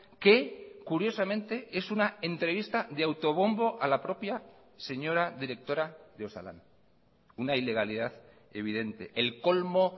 que curiosamente es una entrevista de autobombo a la propia señora directora de osalan una ilegalidad evidente el colmo